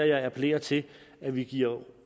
jeg appellerer til at vi giver